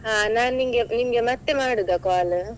ಹಾ ನಾನಿಂಗೆ, ನಿಮ್ಗೆ ಮತ್ತೆ ಮಾಡುದಾ call ?